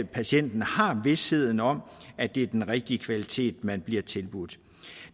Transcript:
patienten har vished om at det er den rigtige kvalitet man bliver tilbudt